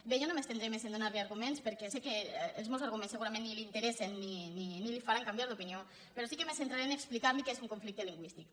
bé jo no m’estendré més a donar li arguments perquè sé que els meus arguments segurament ni l’interessen ni el faran canviar d’opinió però sí que me centraré a explicar li què és un conflicte lingüístic